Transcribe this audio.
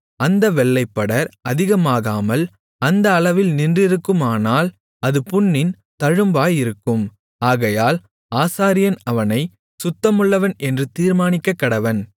அந்த வெள்ளைப்படர் அதிகமாகாமல் அந்த அளவில் நின்றிருக்குமானால் அது புண்ணின் தழும்பாயிருக்கும் ஆகையால் ஆசாரியன் அவனைச் சுத்தமுள்ளவன் என்று தீர்மானிக்கக்கடவன்